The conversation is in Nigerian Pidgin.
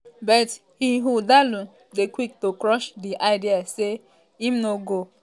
but ighodalo dey quick to crush di idea say im no um go